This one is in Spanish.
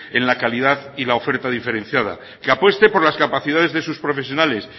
en la calidad y la oferta diferenciada que apueste por las capacidades de sus profesionales